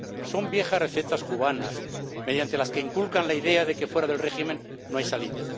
Son viejas recetas cubanas, mediante las que inculcan la idea de que fuera del régimen no hay salida.